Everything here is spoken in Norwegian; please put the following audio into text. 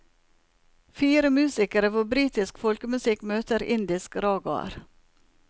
Fire musikere hvor britisk folkemusikk møter indisk ragaer.